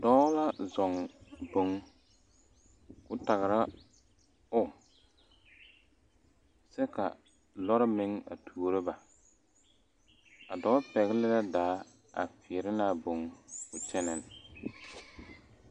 Dɔɔ la zɔŋ boŋ k,o tagra o kyɛ ka lɔre meŋ a tuoro ba a dɔɔ pɛgle la daa a feɛrɛ ne a boŋ k,o kyɛnɛ.